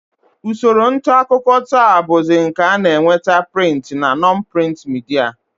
Usoro ntaakụkọ taa bụzi nke a na-eweta prịnt na non-prịnt midia